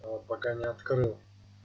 а пока не открыл